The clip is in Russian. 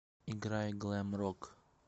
играй глэм рок